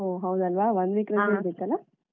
ಒಹ್ ಹೌದಲ್ವಾ one week ರಜೆ ಇರ್ಬೇಕಲ ಹ.